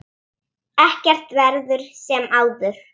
Ekkert verður sem áður.